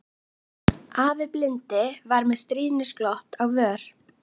Afi blindi var með stríðnisglott á vör.